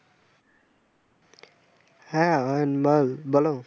হ্যাঁ আরিয়ান বল বলো।